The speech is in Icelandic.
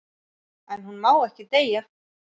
En hún má ekki deyja.